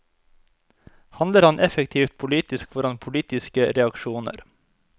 Handler han effektivt politisk får han politiske reaksjoner.